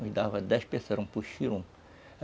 Me dava dez pessoas, puxirum.